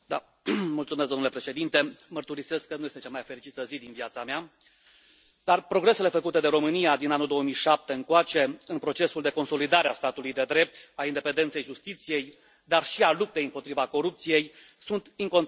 Domnule președinte, mărturisesc că nu este cea mai fericită zi din viața mea, dar progresele făcute de România din anul 2007 încoace în procesul de consolidare a statului de drept, a independenței justiției, dar și a luptei împotriva corupției sunt incontestabile.